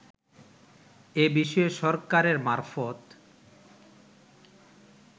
এ বিষয়ে সরকারের মারফত